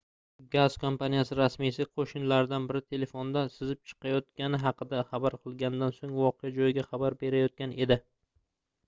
gaz kompaniyasi rasmiysi qoʻshnilaridan biri telefonda sizib chiqayotgani haqida xabar qilganidan soʻng voqea joyiga xabar berayotgan edi